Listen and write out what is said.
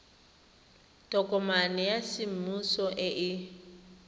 tokomane ya semmuso e e